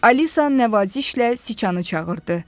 Alisa nəvazişlə Siçanı çağırdı.